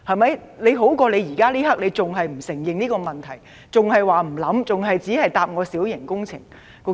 這總好過現在你仍然不承認這個問題，還說不考慮，只是以規管小型工程來回答我。